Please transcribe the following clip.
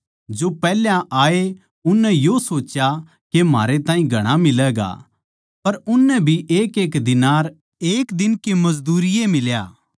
जो पैहल्या आये उननै यो सोच्या के म्हारै ताहीं घणा मिलैगा पर उननै भी एकएक दीनार एक दिन की मजदूरी ए मिल्या